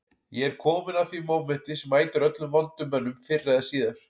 Ég er kominn að því mómenti sem mætir öllum vondum mönnum fyrr eða síðar